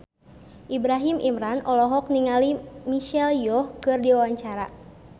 Ibrahim Imran olohok ningali Michelle Yeoh keur diwawancara